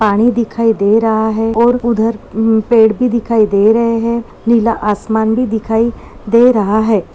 पानी दिखाई दे रहा है और उधर म पेड़ भी दिखाई दे रहे है नीला आसमान भी दिखाई से रहा है।